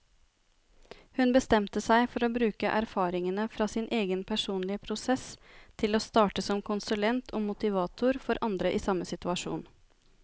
Hun bestemte seg for å bruke erfaringene fra sin egen personlige prosess til å starte som konsulent og motivator for andre i samme situasjon.